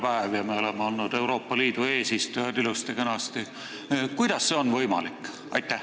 Täna on ka emakeelepäev ja me oleme äsja olnud ilusti-kenasti Euroopa Liidu eesistujad.